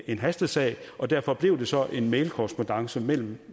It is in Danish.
en hastesag og derfor blev det så en mailkorrespondance mellem